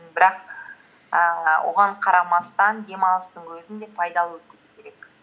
бірақ ііі оған қарамастан демалыстың өзін де пайдалы өткізу керек